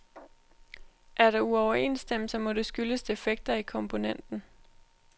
Er der uoverensstemmelser, må det skyldes defekter i komponenten.